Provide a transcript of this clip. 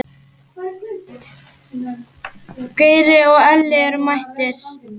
Geiri og Elli eru mættir.